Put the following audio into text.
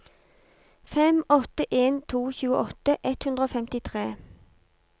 fem åtte en to tjueåtte ett hundre og femtitre